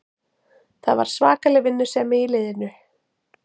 Það var svakaleg vinnusemi í liðinu